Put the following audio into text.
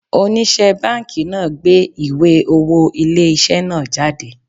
Onise banki náà gbé ìwé owó ilé isẹ náà jáde